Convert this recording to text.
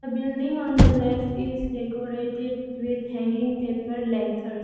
building on the left is decorated with hanging paper lanthars.